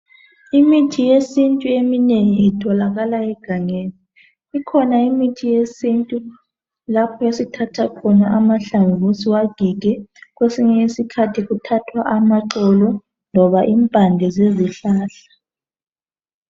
Imithi yesintu eminengi itholakala egangeni ikhona imithi yesintu lapho esithatha khona amahlamvu siwagige kwesinye isikhathi kuthathwa amaxolo loba impande zezihlahla.